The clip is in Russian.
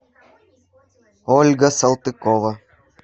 ольга салтыкова